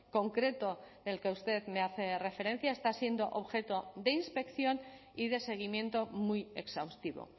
concreto del que usted me hace referencia está siendo objeto de inspección y de seguimiento muy exhaustivo